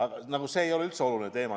See nagu ei oleks üldse oluline teema.